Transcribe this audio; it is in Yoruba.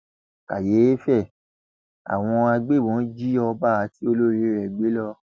kàyééfẹ àwọn agbébọn jí ọba àti olórí rẹ gbé lọ